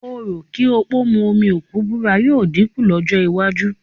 Orò kí òpó mu omi òkú búra yóò dínkù lọ́jọ́ iwájú